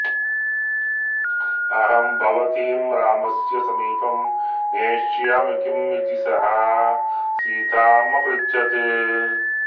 अहं भवतीं रामस्य समीपं नेष्यामि किम् इति सः सीताम् अपृच्छत्